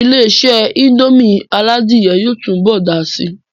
Ilé-isé indomie aládìyẹ yóò tún bọ̀ dàá si